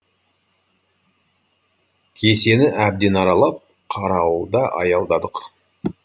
кесенені әбден аралап қарауылда аялдадық